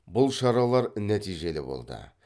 бұл шаралар нәтижелі болды